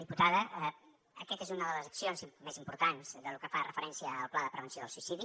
diputada aquesta és una de les accions més importants de lo que fa referència al pla de prevenció del suïcidi